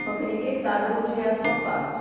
Só que ninguém sabe onde é a sua parte.